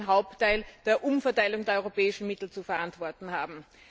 den Hauptteil der Umverteilung der europäischen Mittel zu verantworten haben.